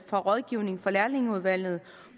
og rådgivning fra lærlingeudvalget